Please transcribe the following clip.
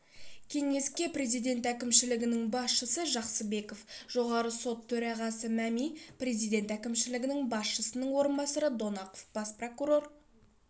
кеңеске президент әкімшілігінің басшысы жақсыбеков жоғарғы сот төрағасы мәми президент әкімшілігі басшысының орынбасары донақов бас прокурор